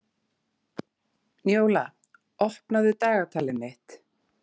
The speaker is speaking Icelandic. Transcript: Njóla, opnaðu dagatalið mitt.